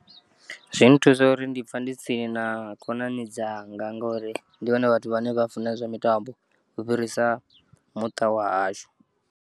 Zwi nthusa uri ndi pfa ndi tsini na khonani dzanga ngauri ndi vhone vhathu vhane vha funa zwa mitambo u fhirisa muṱa wa hashu.